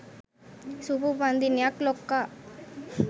සුභ උපන්දිනයක් ලොක්කා